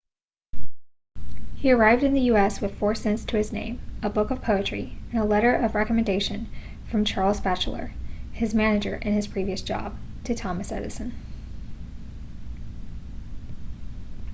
he arrived in the us with 4 cents to his name a book of poetry and a letter of recommendation from charles batchelor his manager in his previous job to thomas edison